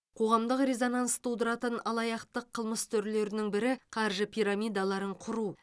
қоғамдық резонанс тудыратын алаяқтық қылмыс түрлерінің бірі қаржы пирамидаларын құру